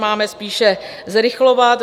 Máme spíše zrychlovat.